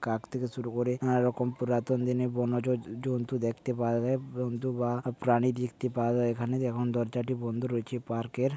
কাক থেকে শুরু করে নানা রকম পুরাতন দিনের বন্য জ জন্তু দেখতে পাওয়া যায়। জন্তু বা প্রাণী দেখতে পাওয়া যায় এখানে। এখন দরজাটি বন্ধ রয়েছে পার্ক -এর।